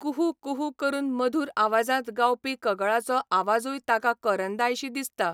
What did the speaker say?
कुहू कुहू करून मधूर आवाजांत गावपी कगळाचो आवाजूय ताका करंदायशी दिसता.